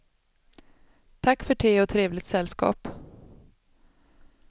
Tack för te och trevligt sällskap.